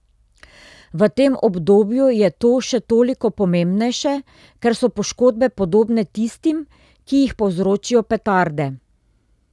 V tem obdobju je to še toliko pomembnejše, ker so poškodbe podobne tistim, ki jih povzročijo petarde.